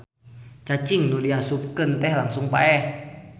Cacing nu diasupkeun teh langsung paeh.